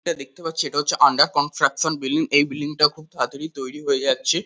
এটা দেখতে পাচ্ছি এটা হচ্ছে আন্ডার কন্সট্রাকশান বিল্ডিং । এই বিল্ডিং - টা খুব তাড়াতাড়ি তৈরী হয়ে যাচ্ছে।